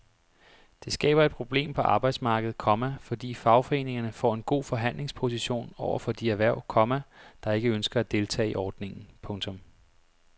Det skaber et problem på arbejdsmarkedet, komma fordi fagforeningerne får en god forhandlingsposition over for de erhverv, komma der ikke ønsker at deltage i ordningen. punktum